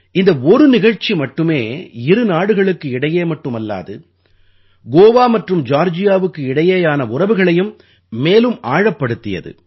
இந்த ஒரு நிகழ்ச்சி மட்டுமே இரு நாடுகளுக்கு இடையே மட்டுமல்லாது கோவா மற்றும் ஜார்ஜியாவுக்கு இடையேயான உறவுகளையும் மேலும் ஆழப்படுத்தியது